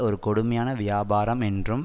ஒரு கொடுமையான வியாபாரம் என்றும்